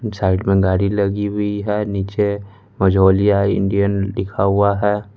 Side में गाड़ी लगी हुई है नीचे मजौलिया इंडियन लिखा हुआ है।